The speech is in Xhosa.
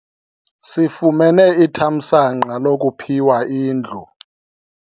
Sifumene ithamsanqa lokuphiwa indlu.